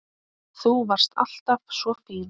Þú varst alltaf svo fín.